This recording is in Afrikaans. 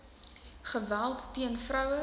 geweld teen vroue